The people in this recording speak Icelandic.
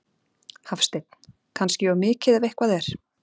Hafsteinn: Kannski of mikið ef eitthvað er?